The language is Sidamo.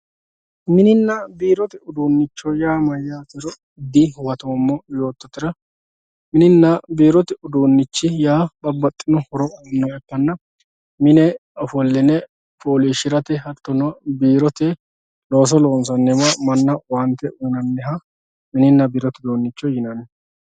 mininna biiro udunnicho yaa mayaatero dihuwatoomo yoototera mininna biiro udunnichi yaa babbaxino horo noohanna mine offolline fooliishirate hattono biirote looso loonsaniwa manaho owaante uyiinanniwa mininna biirote uduunicho yinanni